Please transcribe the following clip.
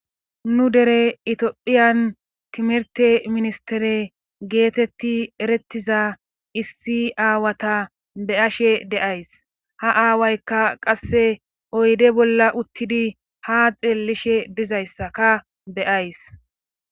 Nu dere itiophiyan timerte ministere geetetti erettiza issi aawata beashe deays ha aawaykka qasse oyde bolla uttidi ha xeellishe dizayssaka beyays.